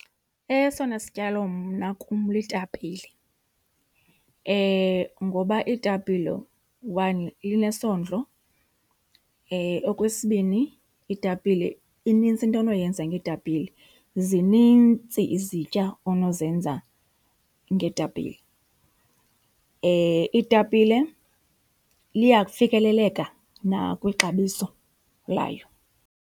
Esona sityalo mna kum litapile. Ngoba itapile, one, linesondlo. Okwesibini, itapile inintsi into onoyenza ngetapile, zinintsi izitya onozenza ngetapile. Itapile liyafikeleleka nakwixabiso layo.